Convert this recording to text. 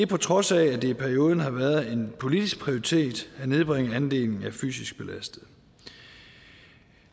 på trods af at det i perioden har været en politisk prioritering at nedbringe andelen af fysisk belastede